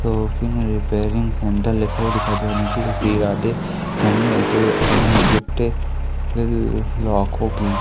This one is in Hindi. रिपेयरिंग सेंटर लिखा हुआ दिखाई दिया और नीचे को श्री राधे गिफ्ट की--